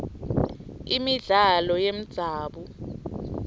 imidlalo yemdzabu